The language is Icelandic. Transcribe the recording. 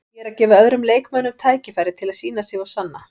Ég er að gefa öðrum leikmönnum tækifæri til þess að sýna sig og sanna.